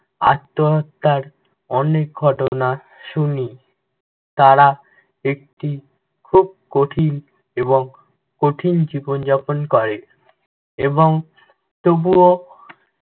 আত্নহত্যার অনেক ঘটনা শুনি। তারা একটি খুব কঠিন এবং কঠিন জীবনযাপন করে এবং তবুও